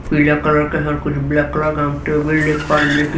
पीला कलर का है कुछ ब्लैक कलर का है हम टेबल देख पा रहे है जो कि--